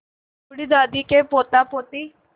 बूढ़ी दादी के पोतापोती